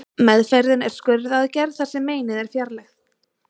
Meðferðin er skurðaðgerð þar sem meinið er fjarlægt.